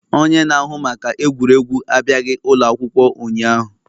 Onye na-ahụ maka egwuregwu abịaghị ụlọ akwụkwọ ụnyahụ.